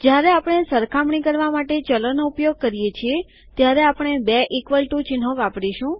જ્યારે આપણે સરખામણી કરવા માટે ચલોનો ઉપયોગ કરીએ છીએ ત્યારે આપણે બે ઇકવલ ટૂ ચિહ્નો વાપરીશું